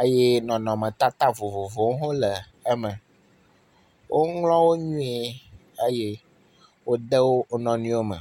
eye nɔnɔmetata vovovowo hã le eme. Woŋlɔ wo nuie eye wode wo wo nɔnɔewo me.